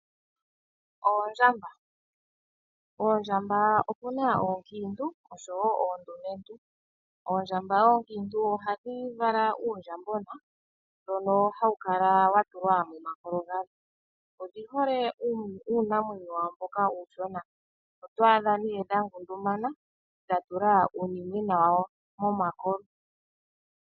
Oondjamba opuna oonkiintu osho wo oondumentu. Oondjamba oonkiintu ohadhi vala uundjambona mbono hawu kala wa tulwa momakolo gadho. Odhi hole uunamwenyo wawo mboka uushona. Oto adha dha ngundumana dha tula uunimwena wawo momakolo.